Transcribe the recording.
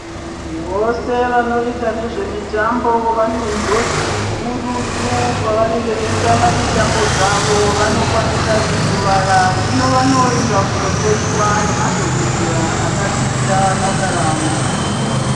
Vose vanoita nezvemitambo vane njodzi hurutu pavanenge veitamba mitambo dzavo , vanokwanisa kukuvara . Hino vanoenda kundohloiwa ngemadhokodhera akadzidzira basa ravo.